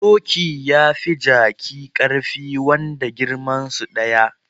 Doki yafi jaki karfi wanda girmansu daya